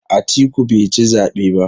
Atiku bai ci zabe ba.